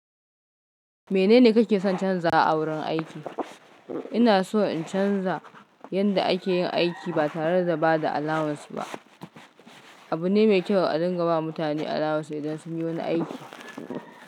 Menene kake son canzawa a wurin aiki? Ina so in canza yanda ake yin aiki ba tare da ba da alawans ba. Abu ne mai kyau a dinga ba mutane alawans idan sun yi wani aiki.